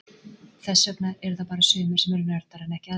Þess vegna eru það bara sumir sem eru nördar en ekki aðrir.